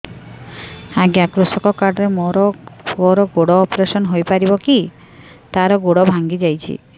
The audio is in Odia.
ଅଜ୍ଞା କୃଷକ କାର୍ଡ ରେ ମୋର ପୁଅର ଗୋଡ ଅପେରସନ ହୋଇପାରିବ କି ତାର ଗୋଡ ଭାଙ୍ଗି ଯାଇଛ